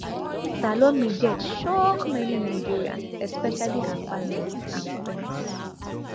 salome death shock many nigerians especially her family and friends